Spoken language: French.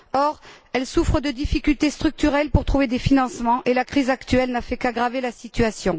Or, elles souffrent de difficultés structurelles pour trouver des financements, et la crise actuelle n'a fait qu'aggraver la situation.